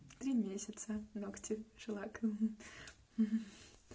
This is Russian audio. три месяца ногти шеллаком ха-ха